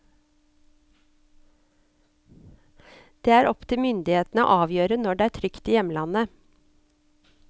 Det er opptil myndighetene å avgjøre når det er trygt i hjemlandet.